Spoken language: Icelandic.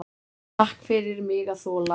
Takk fyrir mig að þola.